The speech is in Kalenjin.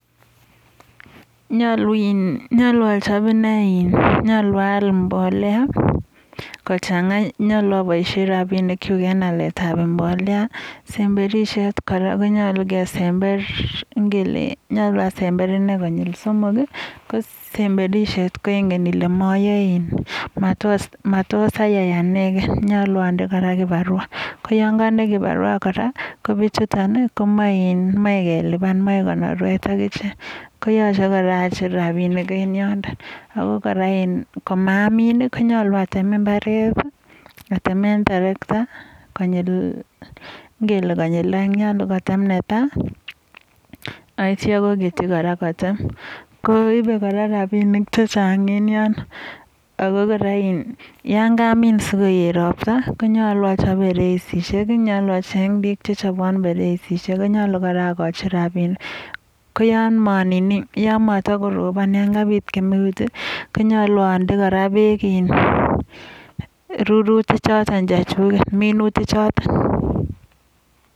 Nyolu in, nyolu achap ine in, nyolu aal mbolea kochang'a. Nyalu aboishen rabinikchu en aletab mbolea. Semberishet kora konyolu kesember ngele nyolu asember ine konyil somok. Kosemberishet ko ingen ile mayoe, matos ayai anegei nyolu ande kirbawa. Yon ande anyun kibarwa kora komachei kelipan. machei konorwet ak ichek. Koyachei kora acher rabinik en yotok ako kora komamin konyolu atem imbaret atemen terakta ngele konyil oeng. Netai aityo aketyi kora kotem. Komachei rabinik chechang en yotok. Yon kamin sikoet ropta, koyachei achap pereisishek. Yachei acheny bik chepalei pereisishek, myolu kora akochi rabinik. Ko yon matakorobon yon mi kemeut. konyolu ande kora bek rurutik chotok chechundet, minutichitok.